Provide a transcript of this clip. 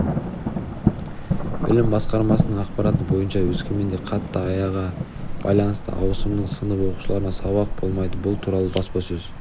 білім басқармасының ақпараты бойынша өскеменде қатты аяға байланысты ауысымның сынып оқушыларына сабақ болмайды бұл туралы баспасөз